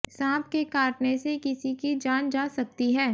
सांप के काटने से किसी की जान जा सकती है